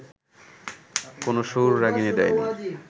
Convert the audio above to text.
কোনো সুর রাগিণী দেয়নি